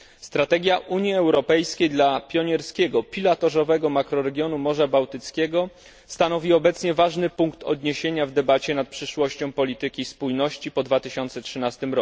Strategia Unii Europejskiej dla pionierskiego, pilotażowego makroregionu Morza Bałtyckiego stanowi obecnie ważny punkt odniesienia w debacie nad przyszłością polityki spójności po 2013